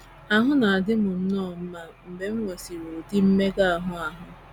Ahụ na - adị m nnọọ mma mgbe m nwesịrị ụdị mmega ahụ ahụ.